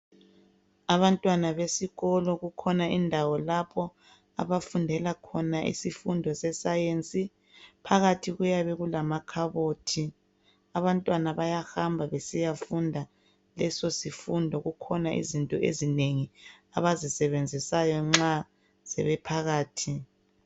Abantwana besikolo kukhona indawo lapho abafundela khona isifundo se"science".Phakathi kuyabe kulama khabothi. Abantwana bayahamba besiyafunda leso sifundo, kukhona izinto ezinengi abazisebenzisayo nxa sebephakathi.